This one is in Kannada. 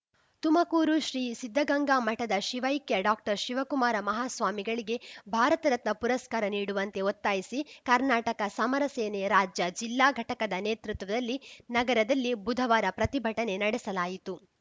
ತುಮಕೂರು ಶ್ರೀ ಸಿದ್ಧಗಂಗಾ ಮಠದ ಶಿವೈಕ್ಯ ಡಾಕ್ಟರ್ ಶಿವಕುಮಾರ ಮಹಾಸ್ವಾಮಿಗಳಿಗೆ ಭಾರತ ರತ್ನ ಪುರಸ್ಕಾರ ನೀಡುವಂತೆ ಒತ್ತಾಯಿಸಿ ಕರ್ನಾಟಕ ಸಮರ ಸೇನೆ ರಾಜ್ಯ ಜಿಲ್ಲಾ ಘಟಕದ ನೇತೃತ್ವದಲ್ಲಿ ನಗರದಲ್ಲಿ ಬುಧವಾರ ಪ್ರತಿಭಟನೆ ನಡೆಸಲಾಯಿತು